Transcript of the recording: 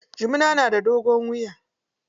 Jumuna na da dogon wuya.